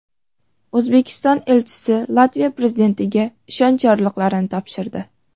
O‘zbekiston elchisi Latviya prezidentiga ishonch yorliqlarini topshirdi.